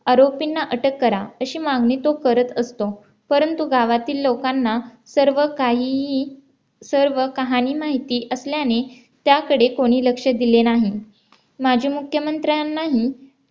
आरोपींना अटक करा अशी मागणी तो करत असतो परंतु गावातील लोकांना सर्व काहीही सर्व कहानी माहिती असल्याने त्याकडे कोणी लक्ष दिले नाही. माजी मुख्यमंत्र्यांनाही